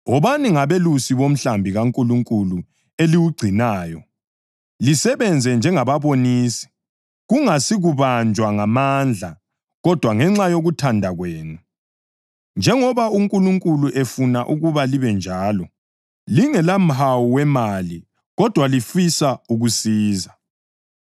Wobani ngabelusi bomhlambi kaNkulunkulu eliwugcinayo, lisebenze njengababonisi, kungasikubanjwa ngamandla, kodwa ngenxa yokuthanda kwenu, njengoba uNkulunkulu efuna ukuba libe njalo; lingelamhawu wemali, kodwa lifisa ukusiza;